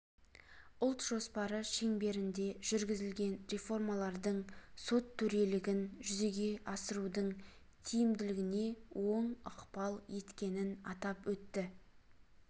ұлт жоспары шеңберінде жүргізілген реформалардың сот төрелігін жүзеге асырудың тиімділігіне оң ықпал еткенін атап өтті